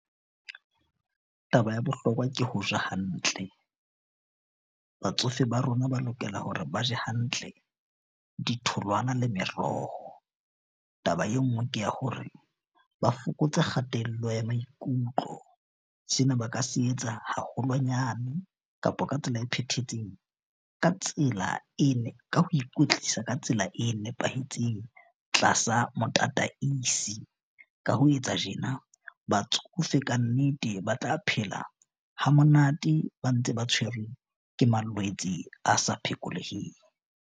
Taba ya bohlokwa ke ho ja hantle. Batsofe ba rona ba lokela hore ba je hantle ditholwana le meroho. Taba e nngwe ke ya hore ba fokotse kgatello ya maikutlo. Sena ba ka se etsa haholwanyane kapa ka tsela e phethahetseng, ka tsela e ka ho ikwetlisa ka tsela e nepahetseng tlasa motataisi. Ka ho etsa tjena batsofe kannete ba tla phela ha monate, ba ntse ba tshwerwe ke malwetse a sa phekoleheng.